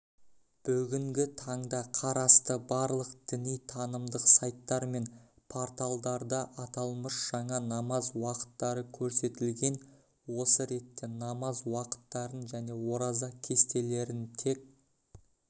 бүгінгі таңда қарасты барлық діни-танымдық сайттар мен порталдарда аталмыш жаңа намаз уақыттары көрсетілген осы ретте намаз уақыттарын және ораза кестелерін тек